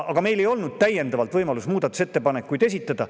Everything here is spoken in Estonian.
Aga meil ei olnud võimalust täiendavalt muudatusettepanekuid esitada.